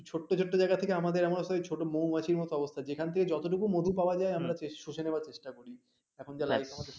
ছোট ছোট জায়গা থেকে আমাদের এমন অবস্থা হয়েছে ছোট মৌমাছি কত অবস্থা যেখান থেকে যতটুকু মধু পাওয়া যায়, আমরা শুষে নেওয়ার চেষ্টা করছি এখন যা life